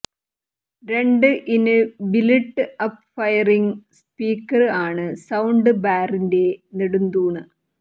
രണ്ട് in built up firing speaker ആണ് sound ബാറിന്റെ നെടുംതൂണ്